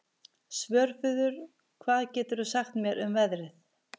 Svörfuður, hvað geturðu sagt mér um veðrið?